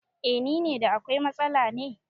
Eh nine, da akwai matsala ne?